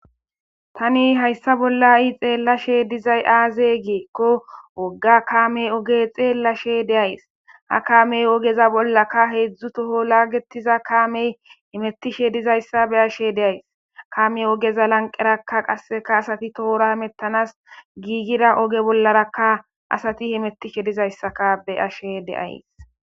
tani hayssa bollai xeellashe dizay aaze geekko wogga kaamey oge xeellashe deays ha kaamey ogeza bollaka heedzdzu toho laagetiza kaamey himettishe dizayssa be ashe deays kaame ogeza lanqerakka qasseka asati toora himettanas giigira oge bollarakka asati himetishe dizayssaka be ashe deays